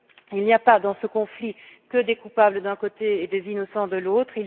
Il n'y a pas, dans ce conflit, que des coupables d'un côté et des innocents de l'autre.